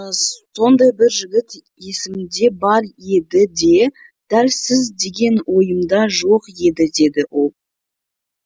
сондай бір жігіт есімде бар еді де дәл сіз деген ойымда жоқ еді деді ол